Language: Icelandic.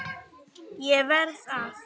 ÉG VERÐ AÐ